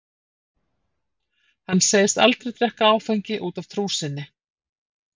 Hann segist aldrei drekka áfengi út af trú sinni.